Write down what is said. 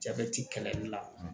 Jabɛti kɛlɛli la